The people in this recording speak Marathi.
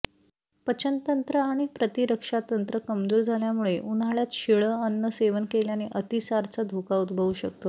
पचनतंत्र आणि प्रतिरक्षातंत्र कमजोर झाल्यामुळे उन्हाळ्यात शिळं अन्न सेवन केल्याने अतिसारचा धोका उद्भवू शकतो